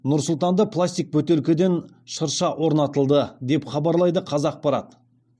нұр сұлтанда пластик бөтелкеден шырша орнатылды деп хабарлайды қазақпарат